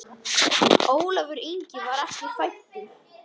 Ólafur Ingi var ekki fæddur.